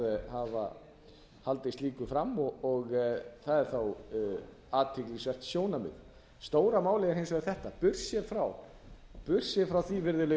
að hafa haldið slíku fram og það er þá athyglisvert sjónarmið stóra málið er hins vegar þetta burtséð frá því virðulegi